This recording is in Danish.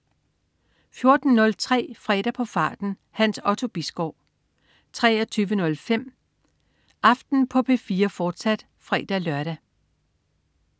14.03 Fredag på farten. Hans Otto Bisgaard 23.05 Aften på P4, fortsat (fre-lør)